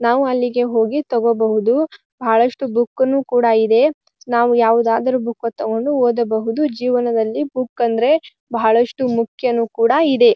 ನಾವು ಅಲ್ಲಿಗೆ ಹೋಗಿ ತಗೋಬಹುದು ಬಹಳಷ್ಟು ಬೂಕು ನು ಕೂಡ ಇದೆ. ನಾವು ಯಾವುದಾದರೂ ಬೂಕ ನು ತಗೊಂಡು ಓದಬಹುದು ಜೀವನದಲ್ಲಿ ಬುಕ್ ಅಂದ್ರೆ ಬಹಳಷ್ಟು ಮುಖ್ಯನು ಕೂಡ ಇದೆ.